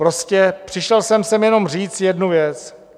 Prostě přišel jsem sem jenom říct jednu věc.